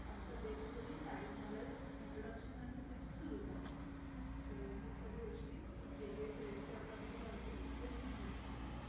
आमचं basically साडे सहाला introduction नंतर trek सुरु झाला so पुढच्या गोष्टी जे काही trek च्या गंमतीजमतियेत त्या स्नेहल सांगेल